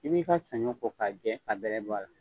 I b'i ka sanɲɔ ko k'a jɛ ka bɛlɛ bɔ a la.